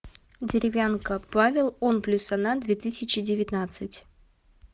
деревянко павел он плюс она две тысячи девятнадцать